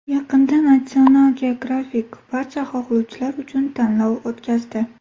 Yaqinda National Geographic barcha xohlovchilar uchun tanlov o‘tkazdi.